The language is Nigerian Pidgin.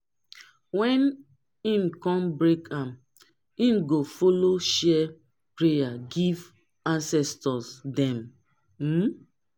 wen him kon break am him go follow share prayer give ancestors dem um